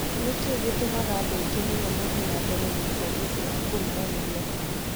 Nĩ kĩĩ gĩtũmaga andũ aingĩ mũno mathiĩ na mbere gũkua nĩ ũndũ wa kũrũmwo nĩ nyoka?"